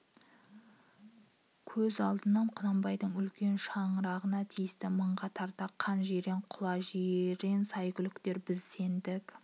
көз алдынан құнанбайдың үлкен шаңы-рағына тиісті мыңға тарга қан жирен құла жирен сәйгүліктер біз сендік